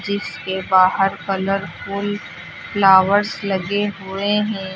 जिसके बाहर colourful flowers लगे हुए हैं।